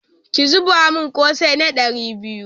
Ki zuba min ƙosai na ɗari biyu